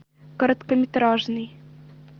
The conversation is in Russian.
короткометражный